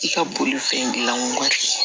I ka bolifɛn dilan waati